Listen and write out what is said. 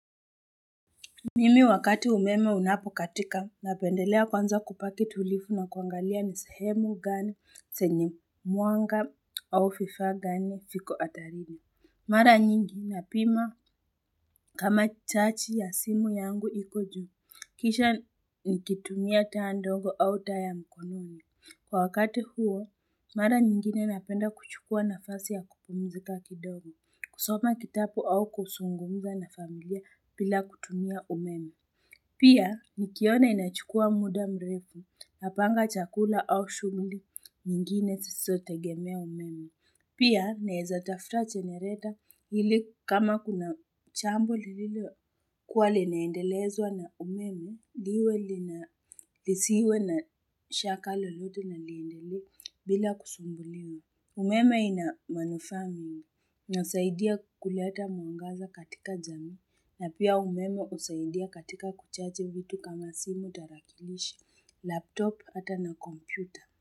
Mimi wakati umeme unapokatika, napendelea kwanza kubaki tulivu na kuangalia ni sehemu gani, zenye mwanga au vifaa gani viko hatarini. Mara nyingi napima kama chaji ya simu yangu iko juu, kisha nikitumia taa ndogo au taa ya mkononi. Kwa wakati huo, mara nyingine napenda kuchukua nafasi ya kupumzika kidogo, kusoma kitabu au kuzungumza na familia bila kutumia umeme. Pia, nikiona inachukua muda mrefu, napanga chakula au shughuli, nyingine zisotegemea umeme. Pia, nawezatafuta jenereta ili kama kuna jambo lililokuwa linaendelezwa na umeme, liwe lina, lisiwe na shaka lolote na liendelee bila kusumbuliwa. Umeme ina manufaa mingi unasaidia kuleta mwangaza katika jamii na pia umeme husaidia katika kuchaji vitu kama simu, tarakilishi, laptop ata na kompyuta.